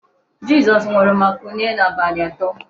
Jizọs nwụrụ ma kulie n'abalị atọ.